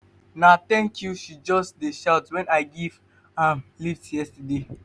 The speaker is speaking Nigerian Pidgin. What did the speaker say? na tank you she just dey shout wen i give am lift yesterday.